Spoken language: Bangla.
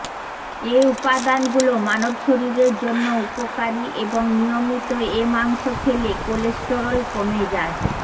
এ উপাদানগুলো মানব শরীরের জন্য উপকারী এবং নিয়মিত এ মাংস খেলে কোলেস্টেরল কমে যায়